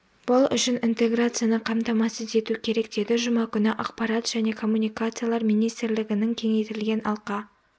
бұл үшін интеграцияны қамтамасыз ету керек деді жұма күні ақпарат және коммуникациялар министрлігінің кеңейтілген алқа